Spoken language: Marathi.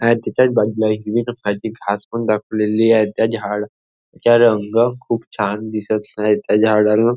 आहे त्याच्याच बाजूला खाच पण दाखवलेली आहे. त्या झाडं च रंग खूप छान दिसत आहे. त्या झाडाना--